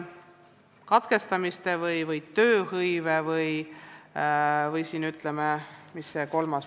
Mis oli see kolmas indikaator, mida te mainisite?